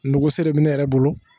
Nogo sere bɛ ne yɛrɛ bolo